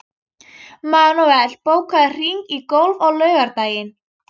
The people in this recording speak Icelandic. Manuel, bókaðu hring í golf á laugardaginn.